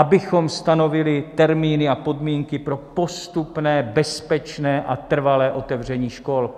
Abychom stanovili termíny a podmínky pro postupné, bezpečné a trvalé otevření škol.